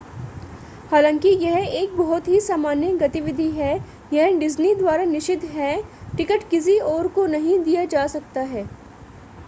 हालांकि यह एक बहुत ही सामान्य गतिविधि है यह डिज्नी द्वारा निषिद्ध है टिकट किसी और को नहीं दिया जा सकता है